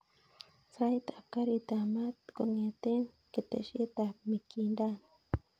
Sait ab garit ab maat kongeten keteshet ab mikindani